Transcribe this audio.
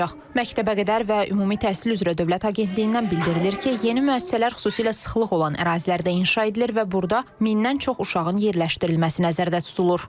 Məktəbəqədər və ümumi təhsil üzrə Dövlət Agentliyindən bildirilir ki, yeni müəssisələr xüsusilə sıxlıq olan ərazilərdə inşa edilir və burda mindən çox uşağın yerləşdirilməsi nəzərdə tutulur.